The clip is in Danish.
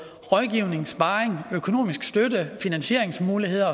rådgivning sparring økonomisk støtte finansieringsmuligheder